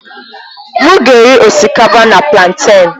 M ga-eri osikapa na plantèn.